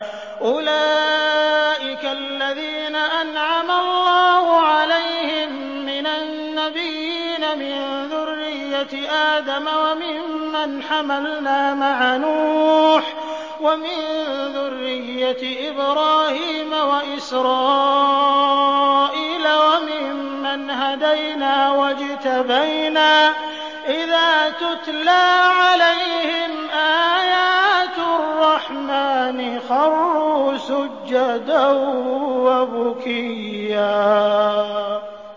أُولَٰئِكَ الَّذِينَ أَنْعَمَ اللَّهُ عَلَيْهِم مِّنَ النَّبِيِّينَ مِن ذُرِّيَّةِ آدَمَ وَمِمَّنْ حَمَلْنَا مَعَ نُوحٍ وَمِن ذُرِّيَّةِ إِبْرَاهِيمَ وَإِسْرَائِيلَ وَمِمَّنْ هَدَيْنَا وَاجْتَبَيْنَا ۚ إِذَا تُتْلَىٰ عَلَيْهِمْ آيَاتُ الرَّحْمَٰنِ خَرُّوا سُجَّدًا وَبُكِيًّا ۩